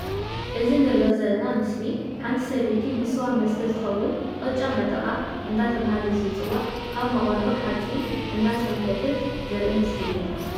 እዚ ንርኦ ዘለና ምስሊ ሓንቲ ሰበይቲ ንስዋ መስተ ዝከውን ቅጫ መጠቃ እንዳተባሃለ ዝፅዋዕ ኣብ መቁሎ ሓፂን እንዳሰንከተት ዘርኢ ምስሊ እዩ።